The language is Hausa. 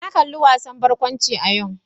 Na kalli wasan barkwanci a yau.